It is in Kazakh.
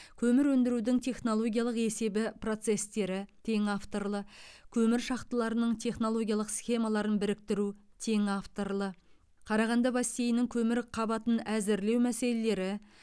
көмір өндірудің технологиялық есебі процестері тең авторлы көмір шахталарының технологиялық схемаларын біріктіру тең авторлы қарағанды бассейнінің көмір қабатын әзірлеу мәселелері